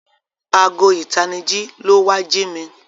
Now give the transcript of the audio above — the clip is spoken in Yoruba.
Aago itaniji ló wá jí mí.